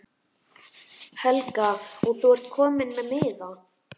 Helga: Og þú ert kominn með miða?